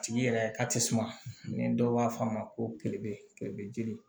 A tigi yɛrɛ ka tɛsuma ni dɔw b'a fɔ a ma ko jeli